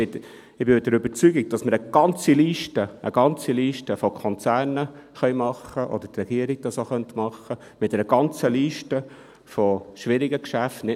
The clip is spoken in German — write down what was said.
Ich bin der Überzeugung, dass wir eine ganze Liste von Konzernen erstellen können, oder die Regierung könnte das machen, eine Liste mit schwierigen Geschäften.